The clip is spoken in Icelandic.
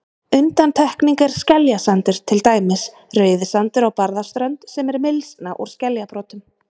Undantekning er skeljasandur, til dæmis Rauðisandur á Barðaströnd, sem er mylsna úr skeljabrotum.